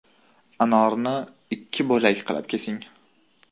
Anorni ikki bo‘lak qilib kesing.